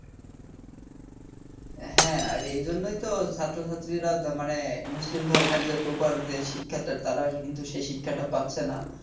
হ্যাঁ আর এজন্যইতো ছাত্রছাত্রীরা মানে মুসলিম ধর্মের যে Proper যে শিক্ষাটা তারা কিন্তু সেই শিক্ষাটা পাচ্ছে না